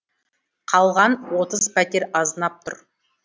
қалған отыз пәтер азынап тұр